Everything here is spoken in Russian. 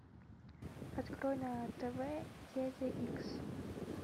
открой на тв дядя икс